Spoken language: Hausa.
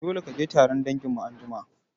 Dole kaje taron danginmu anjima